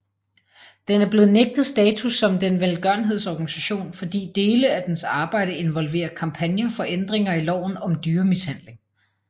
Den er blevet nægtet status som velgørenhedsorganisation fordi dele af dens arbejde involverer kampagner for ændringer i loven om dyremishandling